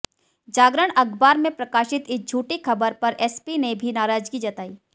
जागरण अखबार में प्रकाशित इस झूठी खबर पर एसपी ने भी नाराजगी जताई